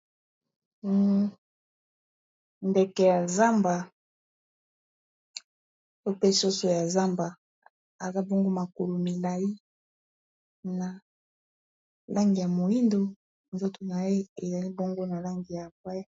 Ndeke ya zamba to pe soso ya zamba aza bongo makalo milayi na langi ya moyindo nzoto na ye ezali bongo na langi ya mbwe.